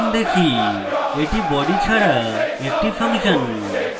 এটি body ছাড়া একটি ফাংশন